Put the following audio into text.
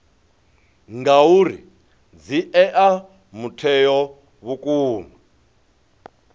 ngauri dzi ea mutheo vhukuma